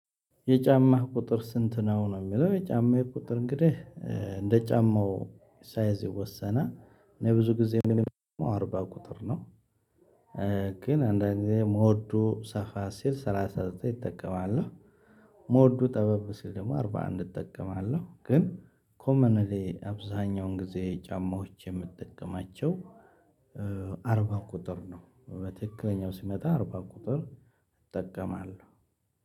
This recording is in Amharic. የጫማህ ቁጥር ስንት ነው? ነው የሚለው የጫማዬ ቁጥር እንግዲህ እ እንደ ጫማው ሳይዝ ይወሰናል እኔ ብዙ ጊዜ የምጠቀመው አርባ ቁጥር ነው። ግን አንዳንድ ጊዜ ሞዱ ሰፋ ሲል ሰላሳ ዘጠኝ እጠቀማለህ። ሞዱ ጠበብ ሲል ደግሞ አርባ አንድ እጠቀማለሁ። ግን ኮመንሊ አብዛኛውን ጊዜ ጫማዎች የምጠቀማቸው እ አርባ ቁጥር ነው። እ በትክክለኛው ሲመጣ አርባ ቁጥር እጠቀማለሁ።